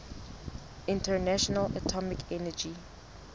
international atomic energy